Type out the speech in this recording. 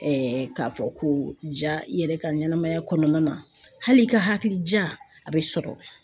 k'a fɔ ko ja i yɛrɛ ka ɲɛnamaya kɔnɔna na hali i yɛrɛ ka hakilija a bɛ sɔrɔ